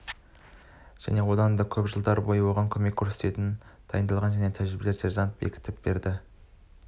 және одан да көп жылдар бойы оған көмек көрсететін дайындалған және тәжірибелі сержантты бекітіп береді